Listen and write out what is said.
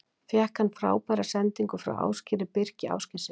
Fékk hann frábæra sendingu frá Ásgeiri Birki Ásgeirssyni.